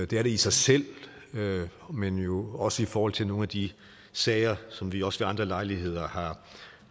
det er det i sig selv men jo også i forhold til nogle af de sager som vi også ved andre lejligheder